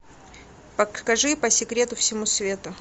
покажи по секрету всему свету